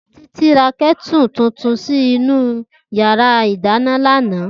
Titi rá kètú tútún si inú iyàrá idàná làná